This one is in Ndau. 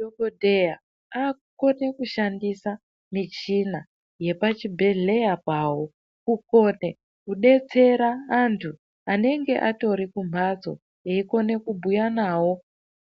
Dhokodheya aku kone kushandisa michina yepa chibhedhleya pawo ku kone kudetsera antu anenge atori ku mhatso eyiko kone ku bhuya nawo